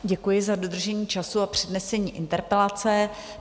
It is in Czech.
Děkuji za dodržení času a přednesení interpelace.